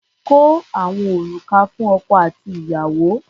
Kó àwọn òrùka fún ọkọ àti ìyàwó.